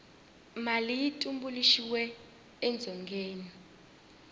mali yi tumbuluxiwe edzongeni